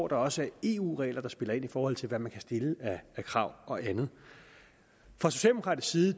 der også er eu regler der spiller ind i forhold til hvad man kan stille af krav og andet fra socialdemokratisk side